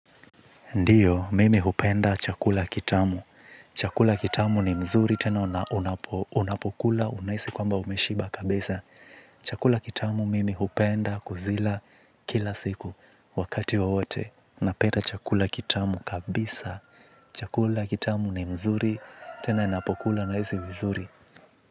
Ndiyo mimi hupenda chakula kitamu. Chakula kitamu ni mzuri tena unapokula unaisi kwamba umeshiba kabisa. Chakula kitamu mimi hupenda kuzila kila siku wakati wowote napeta chakula kitamu kabisa. Chakula kitamu ni mzuri tena napokula naisi vizuri.